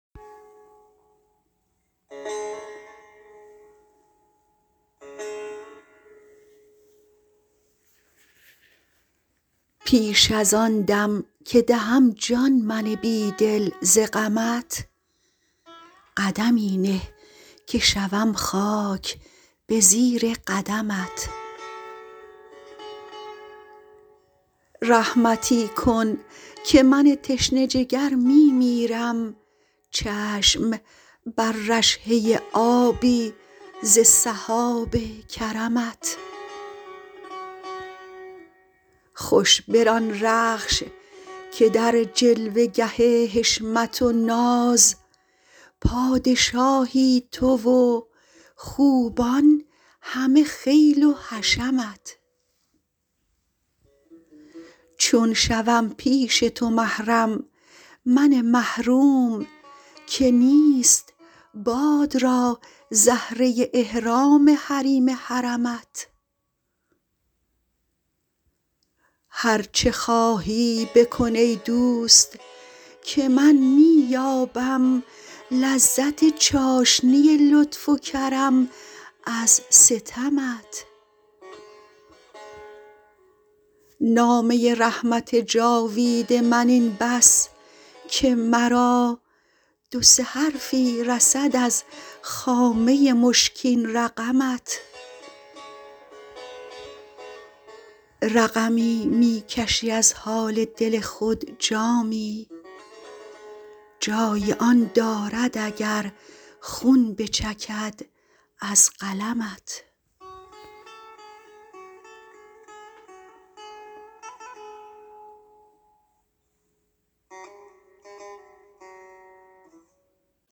پیش ازان دم که دهم جان من بیدل ز غمت قدمی نه که شوم خاک به زیر قدمت رحمتی کن که من تشنه جگر می میرم چشم بر رشحه آبی ز سحاب کرمت خوش بران رخش که در جلوه گه حشمت و ناز پادشاهی تو و خوبان همه خیل و حشمت چون شوم پیش تو محرم من محروم که نیست باد را زهره احرام حریم حرمت هر چه خواهی بکن ای دوست که من می یابم لذت چاشنی لطف و کرم از ستمت نامه رحمت جاوید من این بس که مرا دو سه حرفی رسد از خامه مشکین رقمت رقمی می کشی از حال دل خود جامی جای آن دارد اگر خون بچکد از قلمت